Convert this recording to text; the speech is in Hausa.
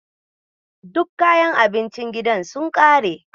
Duk kayan abincin gidan sun ƙare.